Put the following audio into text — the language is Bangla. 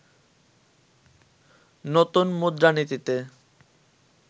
নতুন মুদ্রানীতিতে